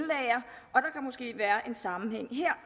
sammenhæng her